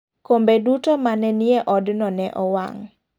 kombe duto mane nie odno ne owang'.